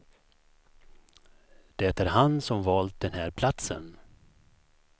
Det är han som valt den här platsen.